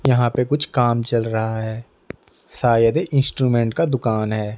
यहां पे कुछ काम चल रहा है शायद ये इंस्ट्रूमेंट का दुकान है।